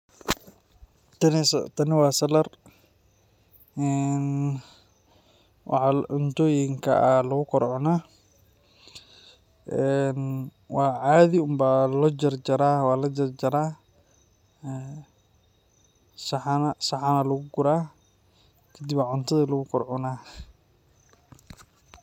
Tane se Tane wa salad ee waxa cuntoyinka a lagukor cuna een wa cadi on ba lojarjara, wa la jarjara ,een saxan aya lagugura, kadib aya cutada lagu gor cuna.